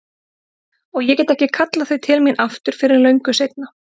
Og ég get ekki kallað þau til mín aftur fyrr en löngu seinna.